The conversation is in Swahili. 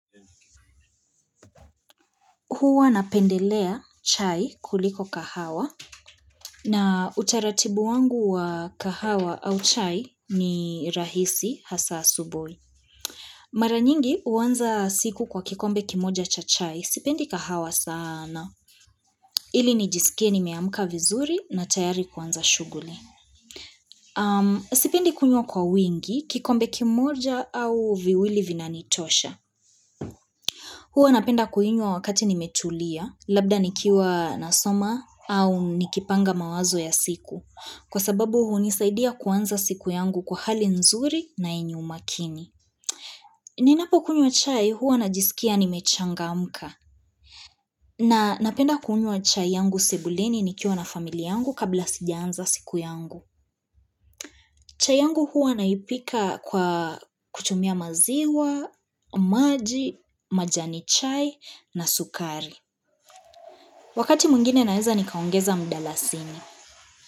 Huwa napendelea chai kuliko kahawa na utaratibu wangu wa kahawa au chai ni rahisi hasa asubuhi. Mara nyingi huanza siku kwa kikombe kimoja cha chai sipendi kahawa sana. Ili ni jisike nimeamka vizuri na tayari kwanza shughuli. Sipendi kunywa kwa wingi kikombe kimoja au viwili vinanitosha. Huwa napenda kuinywa wakati nimetulia, labda nikiwa nasoma au nikipanga mawazo ya siku. Kwa sababu hunisaidia kuanza siku yangu kwa hali nzuri na yenye umakini. Ninapokunywa chai huwa najisikia nimechangamka. Na napenda kunywa chai yangu sebuleni nikiwa na familia yangu kabla sijaanza siku yangu. Chai yangu huwa naipika kwa kutumia maziwa, maji, majani chai na sukari. Wakati mwingine naeza nikaongeza mdalasini.